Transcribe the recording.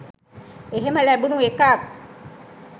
එහෙම ලැබුණු එකත්